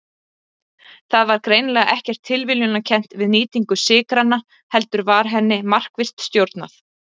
Það var greinilega ekkert tilviljunarkennt við nýtingu sykranna heldur var henni markvisst stjórnað.